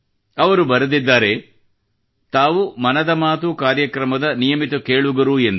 ಅವರು ಬರೆದಿದ್ದಾರೆ ತಾವು ಮನದ ಮಾತು ಕಾರ್ಯಕ್ರಮದ ನಿಯಮಿತ ಕೇಳುಗರು ಎಂದು